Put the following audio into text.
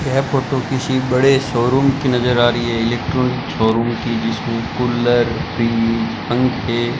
यह फोटो किसी बड़े शोरूम की नजर आ रही है इलेक्ट्रॉनिक शोरूम की जिसमें कुलर टी_वी पंखे --